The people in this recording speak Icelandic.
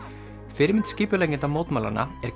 fyrirmynd skipuleggjenda mótmælanna er